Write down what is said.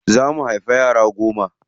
Za mu haifi yara goma.